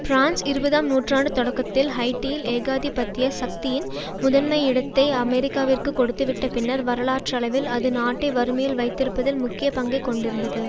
France இருபதாம் நூற்றாண்டு தொடக்கத்தில் ஹைய்ட்டியில் ஏகாதிபத்திய சக்தியின் முதன்மையிடத்தை அமெரிக்காவிற்கு கொடுத்துவிட்ட பின்னர் வரலாற்றளவில் அது நாட்டை வறுமையில் வைத்திருப்பதில் முக்கிய பங்கை கொண்டிருந்தது